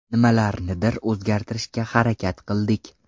Nimalarnidir o‘zgartirishga harakat qildik.